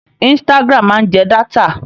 Instagram máa ń jẹ dátà.